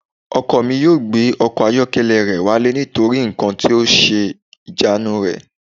Ọkọ mi ò gbé ọkọ̀ ayọ́kẹ́lẹ́ rẹ̀ wálé nítorí nǹkan ń ṣe ìjánu rẹ̀